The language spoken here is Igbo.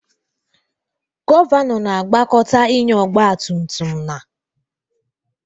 Gọvanọ na-agbakọta ịnya ọgba tum tum na